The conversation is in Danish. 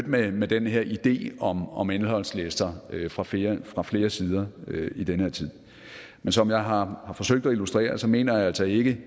mødt med den her idé om om indholdslister fra flere fra flere sider i den her tid men som jeg har forsøgt at illustrere så mener jeg altså ikke